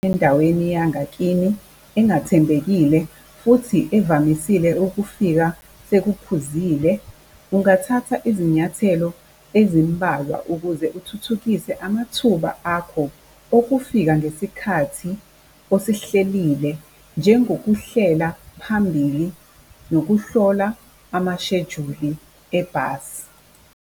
endaweni yangakini engathembekile futhi evamisile ukufika sekuphuzile, ungathatha izinyathelo ezimbalwa ukuze uthuthukise amathuba akho okufika ngesikhathi osihlelile njengokuhlela phambili, nokuhlola amashejuli ebhasi.